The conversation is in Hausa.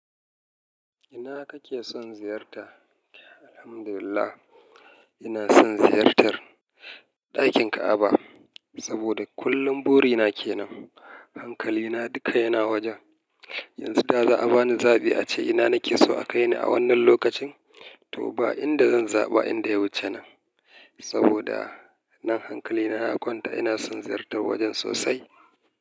Ina kake son ziyarta? Alhamdulillah, ina son ziyartar ɗakin Ka'aba saboda kullum burina ke nan. Hankalina duka yana wajen. Yanzu da za a bani zaɓi ace ina nake so a kai ni a wannan lokacin, to ba inda zan zaɓa inda ya wuce nan. Saboda nan hankalina ya kwanta. Ina son ziyartar wajen sosai.